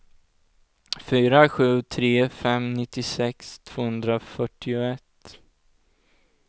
fyra sju tre fem nittiosex tvåhundrafyrtioett